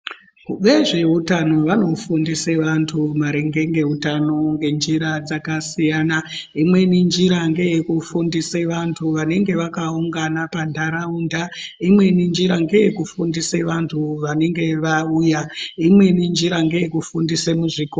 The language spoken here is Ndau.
Vezveutano vanofundise vantu maringe ngeutano ngenjira dzakasiyana. Imweni njira ngeye kufundise vantu vanenge vanonga vakaungana panharaunda. Imweni njira ngeye kufundisa vantu vanenge vauya. Imweni njira ngeye kufundisa muzvikora.